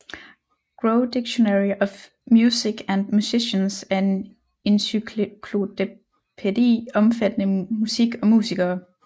Grove Dictionary of Music and Musicians er en encyklopædi omfattende musik og musikere